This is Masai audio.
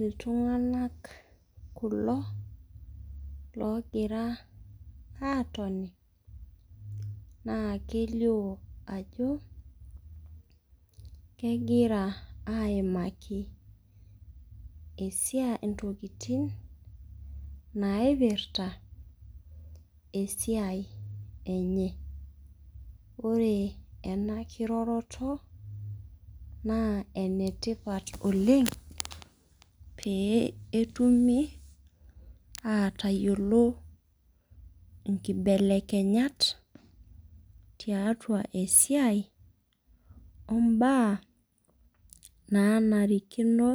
Iltunganak kulo, loogira aatoni, naa kelio ajo kegira aaimaki esiai, intokitin naipirta esiai enye. ore ena kiroroto naa enetipat, oleng. pee etumie aatayiolo nkibelekenyat, tiatua esiai obaa, naanarikino